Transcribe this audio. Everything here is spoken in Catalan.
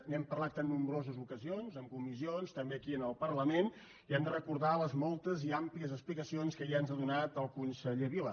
n’hem parlat en nombroses ocasions en comissions també aquí en el parlament i hem de recordar les moltes i àmplies explicacions que ja ens ha donat el conseller vila